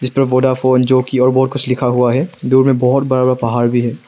इसपर वोडाफोन जो कि और बहुत कुछ लिखा हुआ है। दूर में बहुत बड़ा पहाड़ भी है।